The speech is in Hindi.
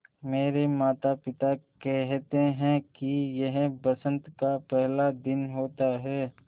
मेरे माता पिता केहेते है कि यह बसंत का पेहला दिन होता हैँ